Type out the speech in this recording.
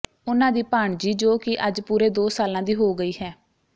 ਉਨ੍ਹਾਂ ਦੀ ਭਾਣਜੀ ਜੋ ਕਿ ਅੱਜ ਪੂਰੇ ਦੋ ਸਾਲਾਂ ਦੀ ਹੋ ਗਈ ਹੈ